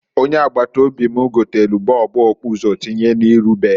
Ọnye agbata obi m gotelu bọọbu okpuso tinyechaa n'iru be ya.